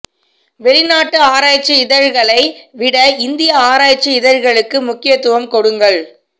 வெளிநாட்டு ஆராய்ச்சி இதழ்களை விட இந்திய ஆராய்ச்சி இதழ்களுக்கு முக்கியத்துவம் கொடுங்கள்